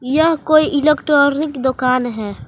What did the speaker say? यह कोई इलेक्ट्रॉनिक दुकान है।